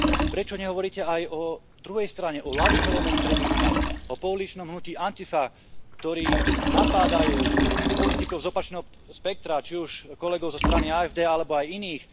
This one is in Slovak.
Prečo nehovoríte aj o druhej strane, o ľavicovom extrémizme, o pouličnom hnutí Antifa, ktorí napádajú politikov z opačného spektra, či už kolegov zo strany AfD alebo aj iných.